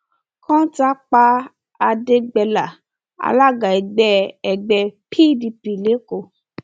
kọńtà pa àdẹgbẹlà alága ẹgbẹ ẹgbẹ pdp lẹkọọ